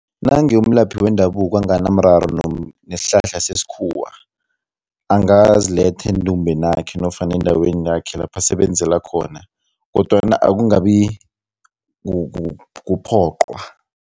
Nange umlaphi wendabuko anganamraro nesihlahla sesikhuwa, angaziletha endumbheni yakhe nofana endaweni yakhe lapho asebenzela khona kodwana ukungabi kuphoqwa.